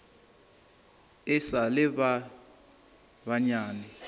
e sa le ba banyane